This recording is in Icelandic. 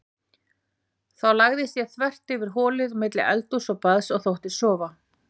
Þá lagðist ég þvert yfir holið á milli eldhúss og baðs og þóttist sofa.